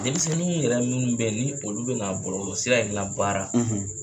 Denmisɛnniin yɛrɛ minnu bɛ ye ni olu bɛna bɔlɔlɔ sira in labaara